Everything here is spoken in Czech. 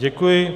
Děkuji.